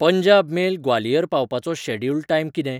Punjab Mail Gwalior पावपाचो schedule time कितें?